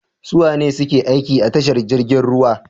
Suwane suke aiki a tashar jirgin ruwa?